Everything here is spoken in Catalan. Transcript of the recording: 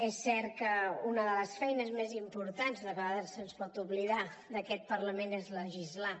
és cert que una de les feines més importants i que a vegades se’ns pot oblidar d’aquest parlament és legislar